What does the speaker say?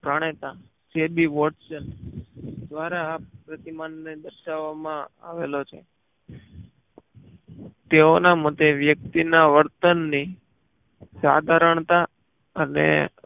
જાણેતા J B watson દ્વારા પ્રતિમાન ને દર્શાવામાં આવેલો છે તેઓ નાં માટે વ્યક્તિ ના વર્તન ની